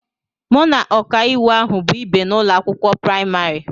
Mụ na ọkàiwu ahụ bụ ìbè n'ụlọ akwụkwọ praịmarị